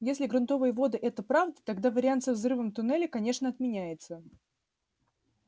если грунтовые воды это правда тогда вариант со взрывом туннеля конечно отменяется